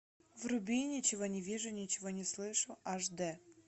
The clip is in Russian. вруби ничего не вижу ничего не слышу аш д